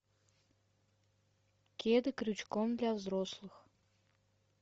кеды крючком для взрослых